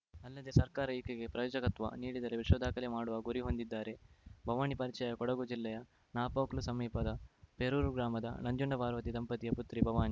ಅಲ್ಲದೆ ಸರ್ಕಾರ ಈಕೆಗೆ ಪ್ರಯೋಜಕತ್ವ ನೀಡಿದರೆ ವಿಶ್ವ ದಾಖಲೆ ಮಾಡುವ ಗುರಿ ಹೊಂದಿದ್ದಾರೆ ಭವಾನಿ ಪರಿಚಯ ಕೊಡಗು ಜಿಲ್ಲೆಯ ನಾಪೋಕ್ಲು ಸಮೀಪದ ಪೆರೂರು ಗ್ರಾಮದ ನಂಜುಂಡಪಾರ್ವತಿ ದಂಪತಿಯ ಪುತ್ರಿ ಭವಾನಿ